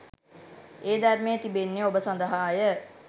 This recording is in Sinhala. ඒ ධර්මය තිබෙන්නේ ඔබ සඳහා ය